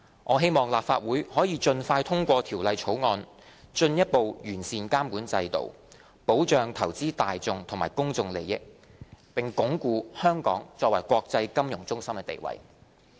我希望立法會可以盡快通過《條例草案》，進一步完善監管制度，保障投資大眾和公眾利益，並鞏固香港作為國際金融中心的地位。